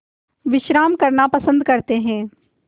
विश्राम करना पसंद करते हैं